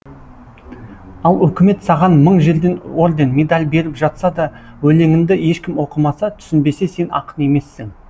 ал өкімет саған мың жерден орден медаль беріп жатса да өлеңіңді ешкім оқымаса түсінбесе сен ақын емессің